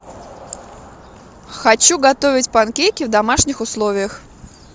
хочу готовить панкейки в домашних условиях